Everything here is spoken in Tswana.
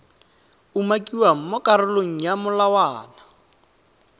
umakiwang mo karolong ya molawana